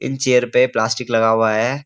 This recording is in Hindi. इन चेयर पे प्लास्टिक लगा हुआ है।